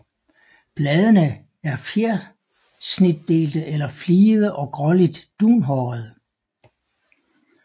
Bladene er fjersnitdelte eller fligede og gråligt dunhårede